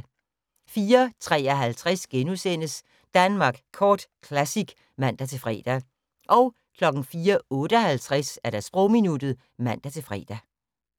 04:53: Danmark Kort Classic *(man-fre) 04:58: Sprogminuttet (man-fre)